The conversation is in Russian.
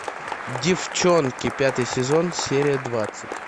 деффчонки пятый сезон серия двадцать